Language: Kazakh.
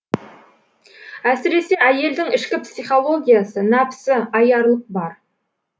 әсіресе әйелдің ішкі психологиясы нәпсі аярлық бар